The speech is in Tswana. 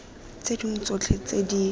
tse dingwe tsotlhe tse di